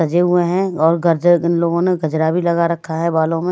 सजे हुए हैं और गर्ज इन लोगों ने गजरा भी लगा रखा है बालों में --